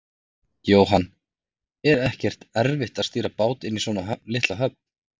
Jóhann: Er ekkert erfitt að stýra bát inn í svona litla höfn?